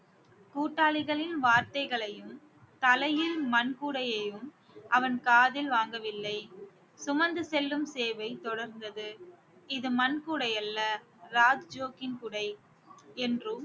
கூட்டாளிகளின் வார்த்தைகளையும் தலையில் மண் கூடையையும் அவன் காதில் வாங்கவில்லை சுமந்து செல்லும் சேவை தொடர்ந்தது இது மண் கூடையல்ல ராஜ்ஜோக்கின் கூடை என்றும்